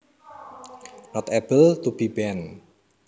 Not able to be bent